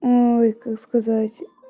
ой как сказать